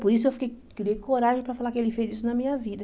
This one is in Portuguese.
Por isso eu fiquei criei coragem para falar que ele fez isso na minha vida.